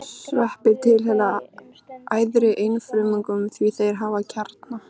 Sveppir tilheyra æðri einfrumungum því þeir hafa kjarna.